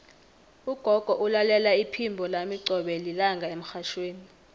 ugogo ulalela iphimbo lami qobe lilanga emrhatjhweni